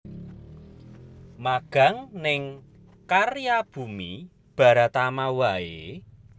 Magang ning Karya Bumi Baratama wae?